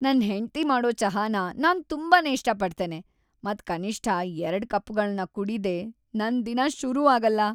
ನನ್ ಹೆಂಡ್ತಿ ಮಾಡೋ ಚಹಾನ ನಾನ್ ತುಂಬಾನೇ ಇಷ್ಟ ಪಡ್ತೇನೆ ಮತ್ ಕನಿಷ್ಠ ಎರಡು ಕಪ್ಗಳನ್ ಕುಡಿದೆ ನನ್ ದಿನ ಶುರು ಆಗಲ್ಲ.